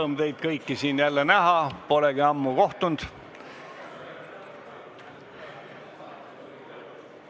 Rõõm teid kõiki siin jälle näha, polegi ammu kohtunud!